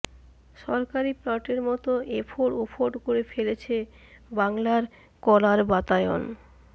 সরকারি প্লটের মত এফোড় ওফোড় করে ফেলেছে বাংলা কলার বাতায়ন